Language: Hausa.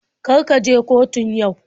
Kar ka je kotun yau.